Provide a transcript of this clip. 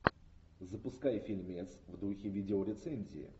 запускай фильмец в духе видеорецензии